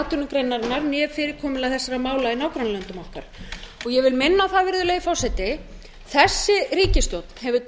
atvinnugreinarinnar né fyrirkomulag þessara mála í nágrannalöndum okkar og ég vil minna á virðulegi forseti að þessi ríkisstjórn hefur